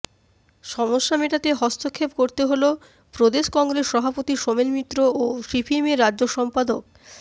সমস্যা মেটাতে হস্তক্ষেপ করতে হল প্রদেশ কংগ্রেস সভাপতি সোমেন মিত্র ও সিপিএমের রাজ্য সম্পাদক